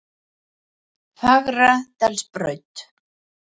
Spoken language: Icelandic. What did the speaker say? Fagradalsbraut